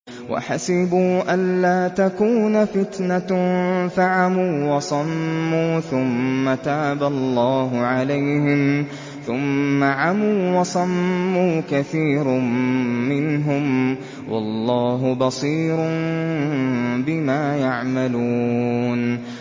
وَحَسِبُوا أَلَّا تَكُونَ فِتْنَةٌ فَعَمُوا وَصَمُّوا ثُمَّ تَابَ اللَّهُ عَلَيْهِمْ ثُمَّ عَمُوا وَصَمُّوا كَثِيرٌ مِّنْهُمْ ۚ وَاللَّهُ بَصِيرٌ بِمَا يَعْمَلُونَ